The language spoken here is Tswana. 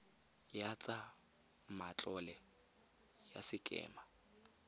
ya tsa matlole ya sekema